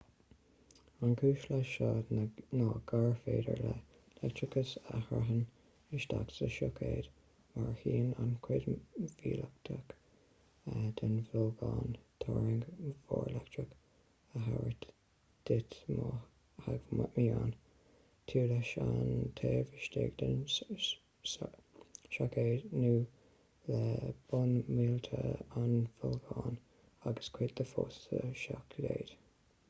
an chúis leis seo ná gur féidir le leictreachas a shreabhann isteach sa soicéad mar a shuíonn an chuid mhiotalach den bholgán turraing mhór leictreach a thabhairt duit má theagmhaíonn tú leis an taobh istigh den soicéad nó le bonn miotail an bholgáin agus cuid de fós sa soicéad